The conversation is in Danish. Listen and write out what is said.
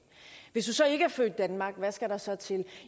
hvis du ikke er født i danmark hvad skal der så til